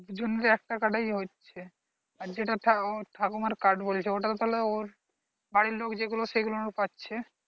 দুজনের একটা card এই হচ্ছে যেটা ওই ঠাকুমার card বলছো ওটা ওর বাড়ির লোক যেগুলো সেগুলো পাচ্ছে